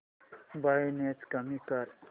brightness कमी कर